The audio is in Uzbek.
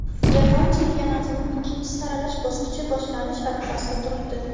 Jahon chempionatining ikkinchi saralash bosqichi boshlanish arafasida turibdi.